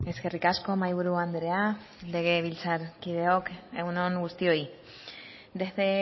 eskerrik asko mahaiburu andrea legebiltzarkideok egun on guztioi desde